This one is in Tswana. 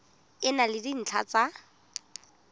e na le dintlha tsa